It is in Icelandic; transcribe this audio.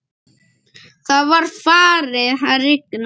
Það var farið að rigna.